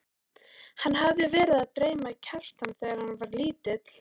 Hann hafði verið að dreyma Kjartan þegar hann var lítill.